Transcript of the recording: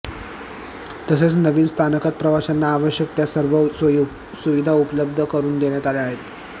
तसेच नवीन स्थानकात प्रवाशांना आवश्यक त्या सर्व सोयी सुविधा उपलब्ध करून देण्यात आल्या आहेत